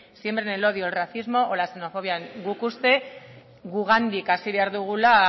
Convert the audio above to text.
siembren el odio el racismo o la xenofobia guk uste gugandik hasi behar dugula